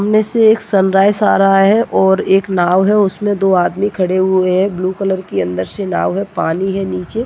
सामने से एक सनराईस आ रहा है और एक नाव है उसमे दो आदमी खड़े हुये है ब्लू कलर की अंदर से नाव है पानी है नीचे--